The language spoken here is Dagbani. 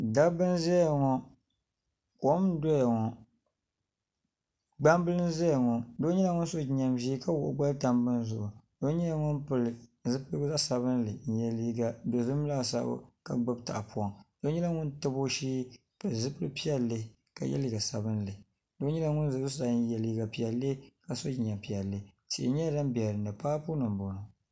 Dabba n ʒɛya ŋo kom n doya ŋo gbambili n ʒɛya ŋo doo nyɛla ŋun so jinjɛm ʒiɛ ka wuhi o gbali tam bini zuɣu doo nyɛla ŋun pili zipili sabinli n yɛ liiga dozim laasabu ka gbubi tahapoŋ doo nyɛla ŋun tabi o shee ni zipili piɛlli ka yɛ liiga sabinli doo nyɛla ŋun ʒɛ zuɣusaa n yɛ liiga piɛlli ka so jinjɛm piɛlli tihi nyɛla din biɛni ni paapu nima